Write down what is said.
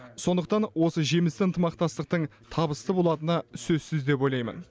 сондықтан осы жемісті ынтымақтастықтың табысты болатыны сөзсіз деп ойлаймын